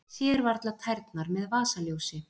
Sér varla tærnar með vasaljósi